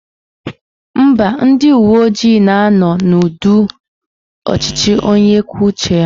Mba, ndị uwe ojii na-anọ n'ụdị ọchịchị onye kwuo uche ya